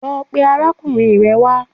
Lọ pe arákùnrin rẹ wá